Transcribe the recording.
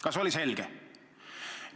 Kas oli selge?